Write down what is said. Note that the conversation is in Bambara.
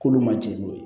K'olu ma jɛn n'o ye